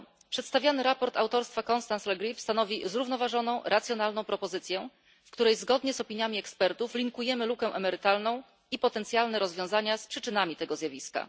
Przedstawiane sprawozdanie autorstwa Constance Le Grip stanowi zrównoważoną, racjonalną propozycję, w której zgodnie z opiniami ekspertów łączymy lukę emerytalną i potencjalne rozwiązania z przyczynami tego zjawiska.